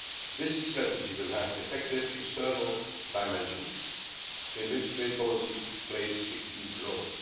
This strategy will have an effective external dimension in which trade policy plays a key role.